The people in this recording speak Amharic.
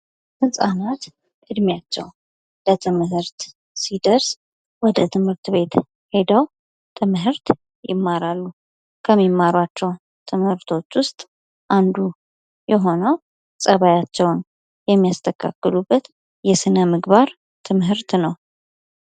ሕፃናት ዕድሜያቸው ለትምህርት ሲደርስ ወደ ትምህርት ቤት ሔደው ትምህርት ይማራሉ። ከሚመሯቸው ትምህርቶች ውስጥ አንዱ የሆነው ፀባያቸውን የሚያስተካክሉበት የሥነ ምግባር ትምህርት ነው።